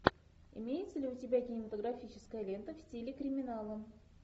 имеется ли у тебя кинематографическая лента в стиле криминала